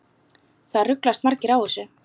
Það ruglast margir á þessu.